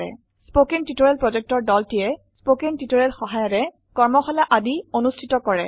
কথন শিক্ষণ প্ৰকল্পৰ দলটিয়ে কথন শিক্ষণ সহায়িকাৰে কৰ্মশালা আদি অনুষ্ঠিত কৰে